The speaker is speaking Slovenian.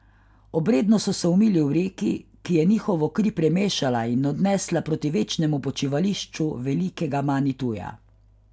Obredno so se umili v reki, ki je njihovo kri premešala in odnesla proti večnemu počivališču velikega Manituja.